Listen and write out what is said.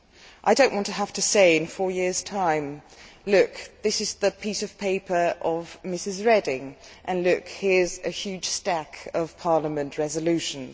I do not want to have to say in four years' time, Look, this is a piece of paper from Ms Reding, and here is a huge stack of Parliament resolutions'.